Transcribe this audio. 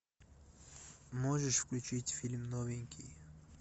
можешь включить фильм новенький